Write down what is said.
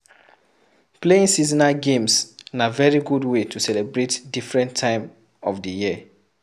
Playing seasonal games na very good way to celebrate different time of di year